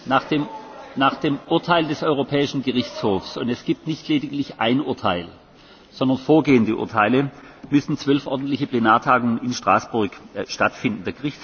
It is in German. Nach dem Urteil des Europäischen Gerichtshofs und es gibt nicht nur ein Urteil, sondern vorgehende Urteile müssen zwölf ordentliche Plenartagungen in Straßburg stattfinden.